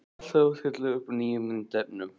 Alltaf að stilla upp nýjum myndefnum.